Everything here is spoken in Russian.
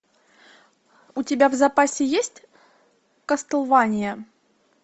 у тебя в запасе есть кастлвания